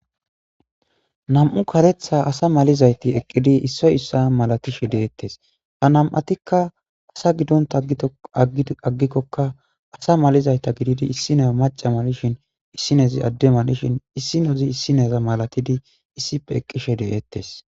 Nam'u karetha ase madizaytako eqqidi issi issa malatishe dettes nam'uatoka asa gidonta aggikoka asa malizayta gididi issiniya macha malishin inozi issineza malatishe issippe eqishe dettes